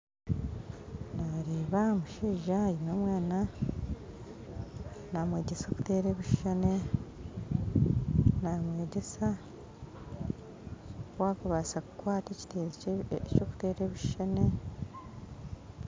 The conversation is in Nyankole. Nareeba omushaija aine omwaana namwegyesa kuteera ebishuushani namwegyesa oku akubaasa kukwata ekitabo ky'okuteera ebishuushani